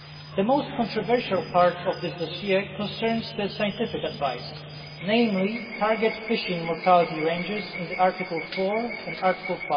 The most controversial part of this dossier concerns the scientific advice, namely target fishing mortality ranges as set out in Article 4 and Article